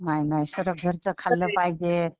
नाही नाही सारं घरचं खाल्लं पाहिजे.